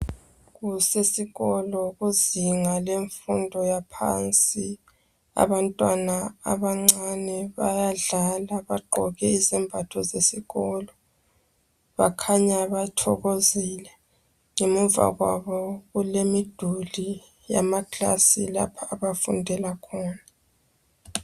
Kusesikolo kuzinga lemfundo yaphansi. Abantwana abancane bayadlala bagqoke izembatho zesikolo. Bakhanya bathokozile. Ngemuva kwabo kulemiduli yamaklasi lapho abafundela khona.